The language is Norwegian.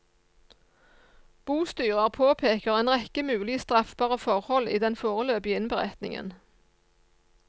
Bostyrer påpeker en rekke mulige straffbare forhold i den foreløpige innberetningen.